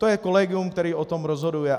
To je kolegium, které o tom rozhoduje.